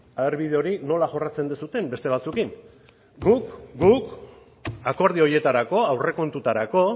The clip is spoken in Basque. ea bide hori nola jorratzen duzuen beste batzuekin guk akordio horietarako aurrekontuetarako